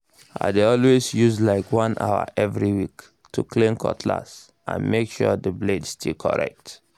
i dey always use like one hour every week to clean cutlass and make sure blade still correct